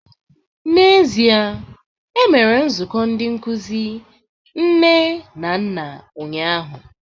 N'ezie, e mere nzukọ ndị nkuzi nne na nna ụnyahụ